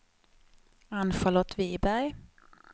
Ann-Charlotte Wiberg